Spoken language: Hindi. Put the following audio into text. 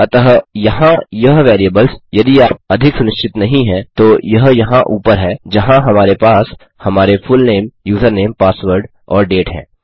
अतः यहाँ यह वेरिएबल्स यदि आप अधिक सुनिश्चित नहीं है तो यह यहाँ ऊपर हैं जहाँ हमारे पास हमारे फुलनेम यूजरनेम पासवर्ड और डेट है